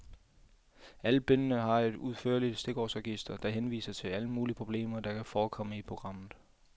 Alle bindene har et udførligt stikordsregister, der henviser til alle mulige problemer, der kan forekomme i programmet.